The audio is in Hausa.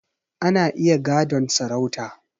Ana iya gadon sarauta